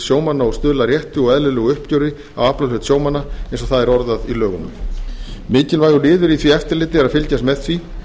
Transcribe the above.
sjómanna og stuðla að rétti og eðlilegu uppgjöri á aflahlut sjómanna eins og það er orðað í lögunum mikilvægur liður í því eftirliti er að fylgjast með því